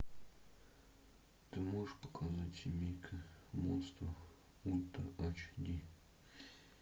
ты можешь показать семейка монстров ультра ач ди